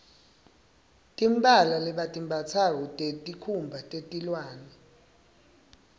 timphala lebatimbatsako tesikhumba teliwane